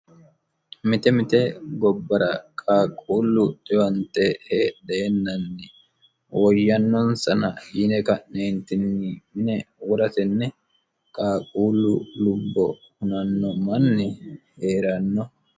mite mite gobbara qaaquullu xiwante heedheennanni woyyannonsana yine ka'neentinni wora tenne qaaquullu lubbo hunnanno manni hee'ranno.